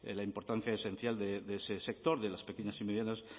la importancia esencial de ese sector de las pequeñas y medianas